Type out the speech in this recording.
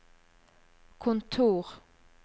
kontor